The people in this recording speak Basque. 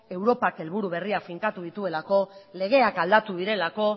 europak helburu berriak finkatu dituelako legeak aldatu direlako